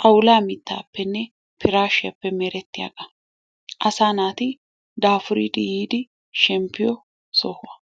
xawulla mittaapenne pirashiyappenne merttees, assa natti dafuriddi yiddi shempiyoo sohuwaa.